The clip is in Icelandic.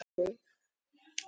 Bréf frá Lenu.